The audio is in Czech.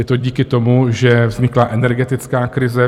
Je to díky tomu, že vznikla energetická krize.